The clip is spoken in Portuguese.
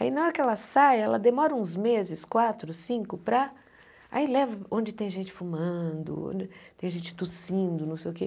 Aí, na hora que ela sai, ela demora uns meses, quatro, cinco, para... Aí leva onde tem gente fumando, onde tem gente tossindo, não sei o quê.